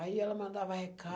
Aí ela mandava